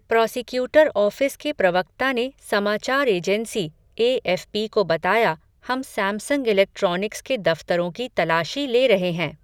Prosecutor office के प्रवक्ता ने समाचार एजेंसी, एएफ़पी को बताया, हम सैमसंग इलेक्ट्रॉनिक्स के दफ़्तरों की तलाशी ले रहे हैं.